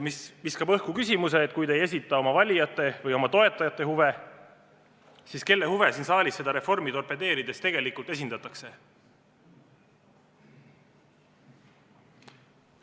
See viskab õhku küsimuse: kui te ei esinda oma valijate või oma toetajate huve, siis kelle huve siin saalis seda reformi torpedeerides tegelikult esindatakse?